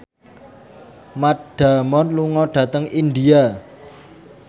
Matt Damon lunga dhateng India